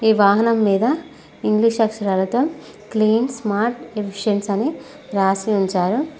ఈ వాహనం మీద ఇంగ్లీష్ అక్షరాలతో క్లీన్ స్మార్ట్ డిఫిషన్స్ అని రాసి ఉంచారు.